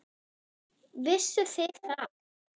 Vissuð þið það?